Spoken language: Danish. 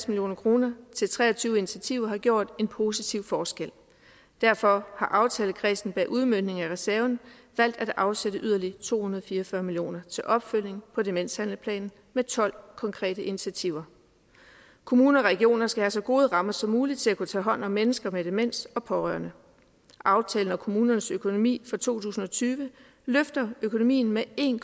million kroner til tre og tyve initiativer har gjort en positiv forskel derfor har aftalekredsen bag udmøntningen af reserven valgt at afsætte yderligere to hundrede og fire og fyrre million til opfølgning på demenshandlingsplanen med tolv konkrete initiativer kommuner og regioner skal have så gode rammer som muligt til at kunne tage hånd om mennesker med demens og pårørende aftalen om kommunens økonomi for to tusind og tyve løfter økonomi med en